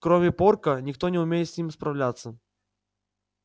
кроме порка никто не умеет с ним справляться